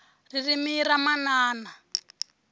ririmi ra manana